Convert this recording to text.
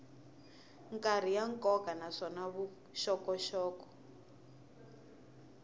karhi ya nkoka naswona vuxokoxoko